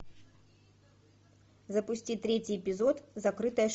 запусти третий эпизод закрытая школа